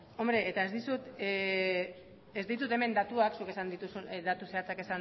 ez ez ditut hemen datuak datu zehatzak